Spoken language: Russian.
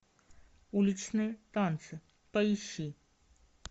уличные танцы поищи